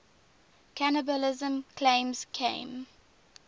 cannibalism claims came